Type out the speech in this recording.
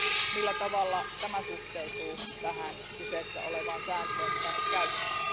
Millä tavalla tämä suhteutuu tähän kyseessä olevaan sääntöön, jota nyt käytetään?